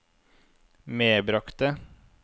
medbragte